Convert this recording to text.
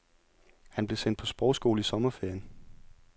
Han blev sendt på sprogskole i sommerferien.